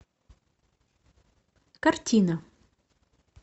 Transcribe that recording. картина